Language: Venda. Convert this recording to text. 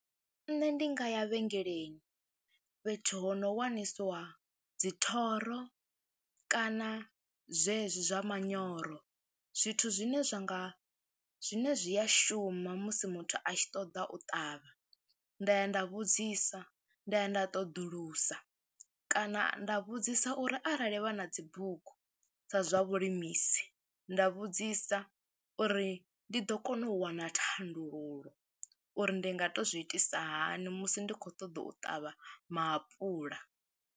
Nṋe ndi nga ya vhengeleni fhethu ho no wanisiwa dzi thoro kana zwezwi zwa manyoro, zwithu zwine zwa nga zwine zwi a shuma musi muthu a tshi ṱoḓa u ṱavha. Nda ya nda vhudzisa, nda ya nda ṱoḓulusa kana nda vhudzisa uri arali vha na dzi bugu sa zwa vhulimisi, nda vhudzisa uri ndi ḓo kona u wana thandululo uri ndi nga tou zwi itisa hani musi ndi khou ṱoḓa u ṱavha maapuḽa.